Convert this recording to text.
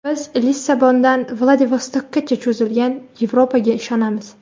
Biz Lissabondan Vladivostokkacha cho‘zilgan Yevropaga ishonamiz.